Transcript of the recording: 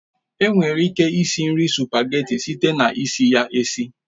Enwere ike esi nri sụpageti site na isi ya esi